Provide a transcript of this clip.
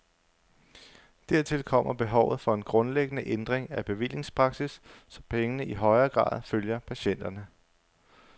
Dertil kommer behovet for en grundlæggende ændring af bevillingspraksis, så pengene i højere grad følger patienterne.